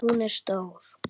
Hún er stór.